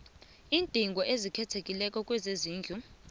iindingo ezikhethekileko kezezindlu